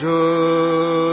ಜೋಜೋ